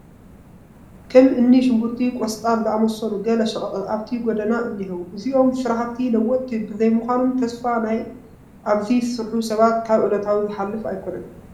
ከም እኒ ሽጉርትን ቆስጣን ዝኣምሰሉ ገለ ሸቐጣት ኣብቲ ጐደና እኔዉ፡፡ እዞም ስራሕቲ ለወጥቲ ብዘይምዃኖም ተስፋ ናይ ኣብዚ ዝሰርሑ ሰባት ካብ ዕለታዊ ዝሓልፍ ኣይኮነን፡፡